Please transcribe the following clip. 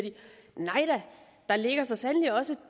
nej da der ligger så sandelig også